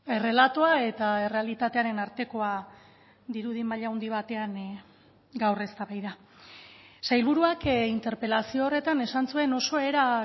errelatoa eta errealitatearen artekoa dirudi maila handi batean gaur eztabaida sailburuak interpelazio horretan esan zuen oso era